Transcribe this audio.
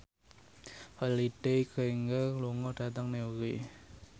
Holliday Grainger lunga dhateng Newry